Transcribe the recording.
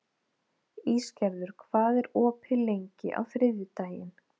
Ísgerður, hvað er opið lengi á þriðjudaginn?